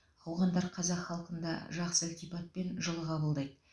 ауғандар қазақ халқын да жақсы ілтипатпен жылы қабылдайды